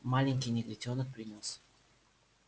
маленький негритёнок принёс